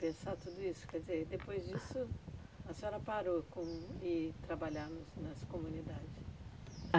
pensar sobre isso, quer dizer, depois disso, a senhora parou com de trabalhar nos nas comunidades.